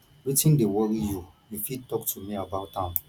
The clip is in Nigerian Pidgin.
wetin dey worry you you fit talk to me about am